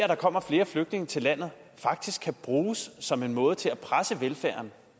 der kommer flere flygtninge til landet faktisk kan bruges som en måde til at presse velfærden